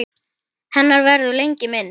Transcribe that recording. Hennar verður lengi minnst.